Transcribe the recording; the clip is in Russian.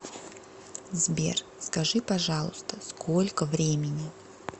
сбер скажи пожалуйста сколько времени